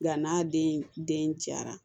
Yann'a den caya